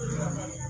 Hɛrɛ